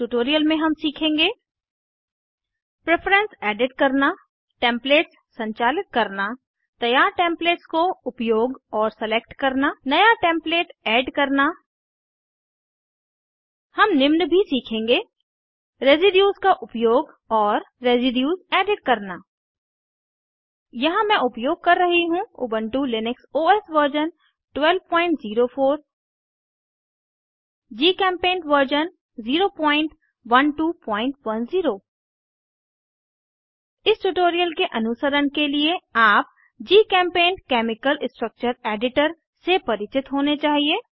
इस ट्यूटोरियल में हम सीखेंगे प्रेफरन्स एडिट करना टेम्पलेट्स संचालित करना तैयार टेम्पलेट्स को उपयोग और सेलेक्ट करना नया टेम्प्लेट ऐड करना हम निम्न भी सीखेंगे रेज़िड्यूस का उपयोग और रेज़िड्यूस एडिट करना यहाँ हम उपयोग कर रहे हैं Ubuntu Linux OS version 1204 GChemPaint version 01210 इस ट्यूटोरियल के अनुसरण के लिए आप जीचेम्पेंट केमिकल स्ट्रक्चर एडिटर से परिचित होने चाहिए